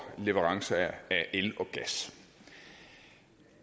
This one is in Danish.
leverancer af el og gas